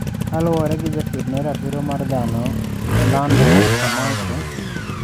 Kaluore gi jakedne ratiro mar dhano Orlando Camacho.